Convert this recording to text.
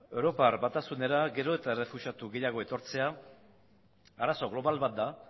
europar batasunera gero eta errefuxiatu gehiago etortzea arazo global bat da